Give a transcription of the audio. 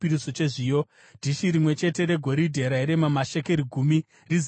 dhishi rimwe chete regoridhe rairema mashekeri gumi, rizere nezvinonhuhwira;